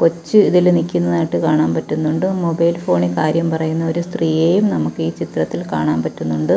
കൊച്ച് ഇതില് നിൽക്കുന്നതായിട്ട് കാണാൻ പറ്റുന്നുണ്ട് മൊബൈൽ ഫോണിൽ കാര്യം പറയുന്ന ഒരു സ്ത്രീയെയും നമുക്ക് ഈ ചിത്രത്തിൽ കാണാൻ പറ്റുന്നുണ്ട്.